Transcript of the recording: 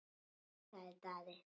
sagði Daði.